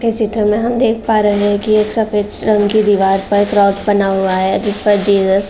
इस चित्र में हम देख पा रहे है कि एक सफ़ेद रंग की दिवार पर क्रॉस बना हुआ है जिस पर जीसस --